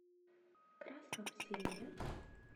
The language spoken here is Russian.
красном селе